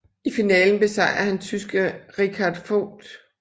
I finalen besejrede han tyske Richard Vogt